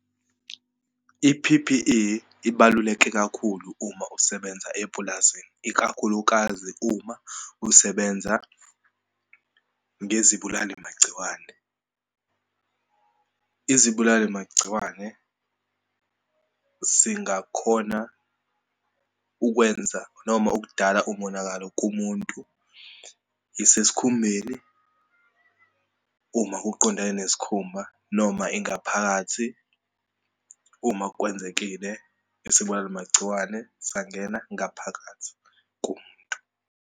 I-P_P_E ibaluleke kakhulu uma usebenza epulazini, ikakhulukazi uma usebenza ngezibulali magciwane. Izibulali magciwane singakhona ukwenza noma ukudala umonakalo kumuntu, isesikhumbeni uma kuqondane nesikhumba, noma ingaphakathi uma kwenzekile isibulala magciwane sangena ngaphakathi kumuntu.